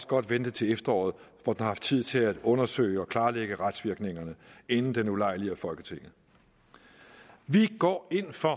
godt vente til efteråret hvor der er tid til at undersøge og klarlægge retsvirkningerne inden den ulejliger folketinget vi går ind for